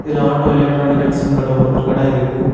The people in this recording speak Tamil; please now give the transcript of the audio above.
இதுல ஆட்டோ எலக்ட்ரானிக்கல்ஸ்னு என்ற ஒரு கட இருக்கு.